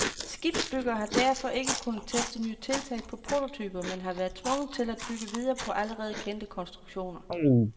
Skibsbyggere har derfor ikke kunnet teste nye tiltag på prototyper, men har været tvunget til at bygge videre på allerede kendte konstruktioner.